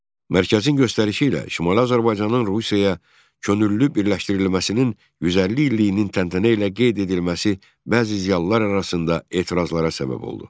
Mərkəzin göstərişi ilə Şimali Azərbaycanın Rusiyaya könüllü birləşdirilməsinin 150 illiyinin təntənə ilə qeyd edilməsi bəzi ziyalılar arasında etirazlara səbəb oldu.